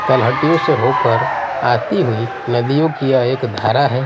तलहटियों से होकर आती हुई नदियों कि यह एक धारा है।